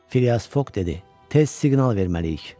Filyas Foq dedi: "Tez siqnal verməliyik."